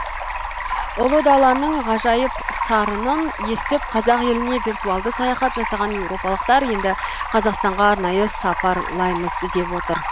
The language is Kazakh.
ұлы даланың ғажайып сарынын естіп қазақ еліне виртуалды саяхат жасаған еуропалықтар енді қазақстанға арнайы сапарлаймыз деп отыр